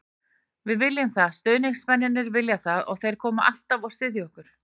Við viljum það, stuðningsmennirnir vilja það og þeir koma alltaf og styðja okkur.